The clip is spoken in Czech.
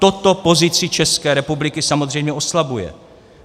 Toto pozici České republiky samozřejmě oslabuje.